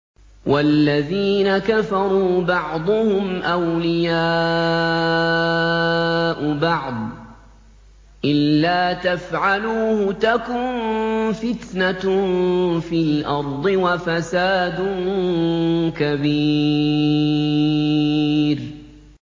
وَالَّذِينَ كَفَرُوا بَعْضُهُمْ أَوْلِيَاءُ بَعْضٍ ۚ إِلَّا تَفْعَلُوهُ تَكُن فِتْنَةٌ فِي الْأَرْضِ وَفَسَادٌ كَبِيرٌ